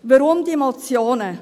Weshalb diese Motionen?